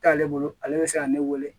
T'ale bolo ale bɛ se ka ne wele